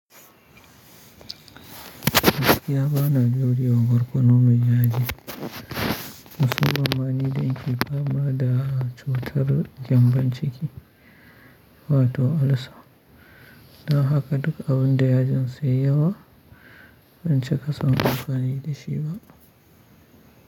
Gaskiya ba na daure ma barkono mai yaji. Musamman ma nida nake fama da cutar gyambon ciki wato ulcer. Dan haka duk abun da yajin sa yayi yawa, ban cika son amfani da shi ba.